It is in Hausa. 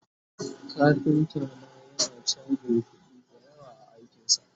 kafinta na yana chajin kuɗi da yawa a aikinsa